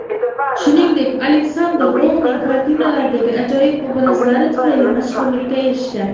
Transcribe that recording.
Shuningdek, Aleksandr Rouning kartinalaridagi ajoyib obrazlari tufayli mashhurlikka erishgan.